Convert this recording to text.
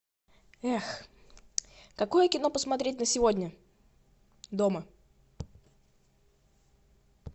эх какое кино посмотреть на сегодня дома